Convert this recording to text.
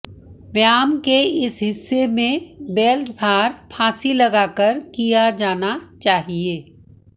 व्यायाम के इस हिस्से में बेल्ट भार फांसी लगाकर किया जाना चाहिए